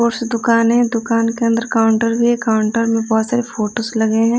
बहुत सी दुकान है दुकान के अंदर काउंटर भी है काउंटर में बहुत सारे फोटोस लगे हैं।